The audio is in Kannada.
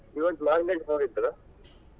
ಇವತ್ market ಹೋಗಿದ್ರಾ?